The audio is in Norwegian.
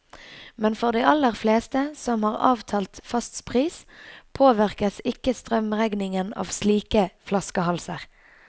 Men for de aller fleste, som har avtalt fast pris, påvirkes ikke strømregningen av slike flaskehalser.